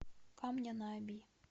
камня на оби